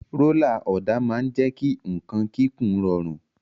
Rólà ọ̀dà máa ń jẹ́ kí nǹkan kíkùn rọrùn.